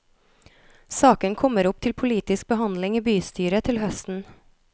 Saken kommer opp til politisk behandling i bystyret til høsten.